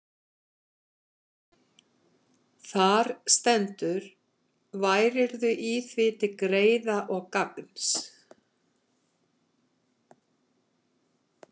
Þar stendur: Værirðu í því til greiða og gagns,